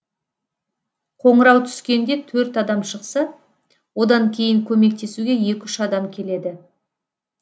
қоңырау түскенде төрт адам шықса одан кейін көмектесуге екі үш адам келеді